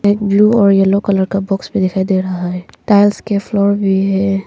इनमें ब्लू और yellow colour का बॉक्स भी दिखाई दे रहा है टाइल्स के फ्लोर भी है।